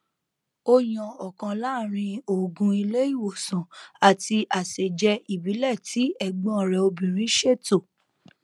ó yan ọkan láàrín òògùn ilé ìwòsàn àti àsèjẹ ìbílẹ tí ẹ̀gbọ́n rẹ obìnrin ṣètò